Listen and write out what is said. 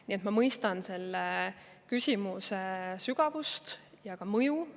Nii et ma mõistan selle küsimuse sügavust ja ka mõju.